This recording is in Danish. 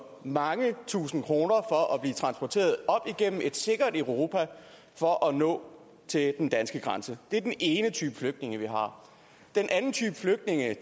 mange tusinde kroner for at blive transporteret op igennem et sikkert europa for at nå til den danske grænse det er den ene type flygtninge vi har den anden type flygtninge